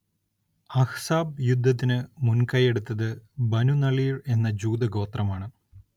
അഹ്‌സാബ് യുദ്ധത്തിന് മുൻകൈയ്യെടുത്തത് ബനുനളീർ എന്ന ജൂതഗോത്രമാണ്.